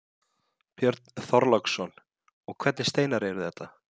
Björn Þorláksson: Og hvernig steinar eru þetta?